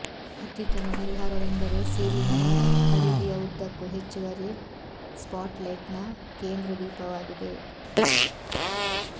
ಅತ್ಯುತ್ತಮ ಪರಿಹಾರವೆಂದರೆ ಸೀಲಿಂಗ್ನ ಪರಿಧಿಯ ಉದ್ದಕ್ಕೂ ಹೆಚ್ಚುವರಿ ಸ್ಪಾಟ್ಲೈಟ್ಸ್ನ ಕೇಂದ್ರ ದೀಪವಾಗಿದೆ